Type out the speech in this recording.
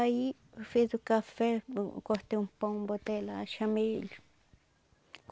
Aí eu fiz o café, eu cortei um pão, botei lá, chamei ele.